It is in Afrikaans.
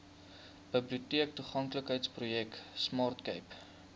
biblioteektoeganklikheidsprojek smart cape